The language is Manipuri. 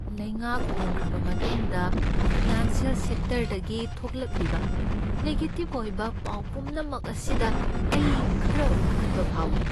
ꯂꯩꯉꯥꯛ ꯍꯣꯡꯈ꯭ꯔꯕ ꯃꯇꯨꯡꯗ ꯐꯥꯏꯅꯥꯟꯁꯤꯌꯦꯜ ꯁꯦꯛꯇꯔꯗꯒꯤ ꯊꯣꯛꯂꯛꯂꯤꯕ ꯅꯦꯒꯦꯇꯤꯕ ꯑꯣꯏꯕ ꯄꯥꯎ ꯄꯨꯝꯅꯃꯛ ꯑꯁꯤꯗ ꯑꯩ ꯈꯔ ꯄꯥꯈꯠꯄ ꯐꯥꯎꯏ꯫